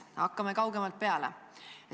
Hakkame kaugemalt peale.